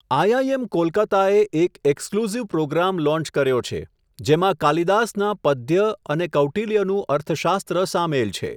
IIM કોલકતાએ એક exclusive programme launch કર્યો છે, જેમાં કાલિદાસના પધ્ય અને કૌટિલ્યનું અર્થશાસ્ત્ર સામેલ છે.